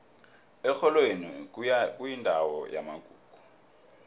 erholweni kuyindawo yamagugu